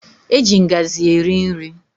Eji ngazi eri nri.